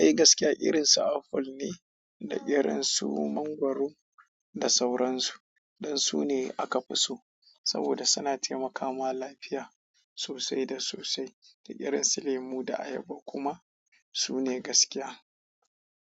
Ehh gaskiya irin su aful ne, da irin su mangwaro da sauransu. Ɗan su ne aka fi so saboda suna taimakawa ma lafiya sosai da sosai. Da irin su lemu da ayaba kuma su ne gaskiya.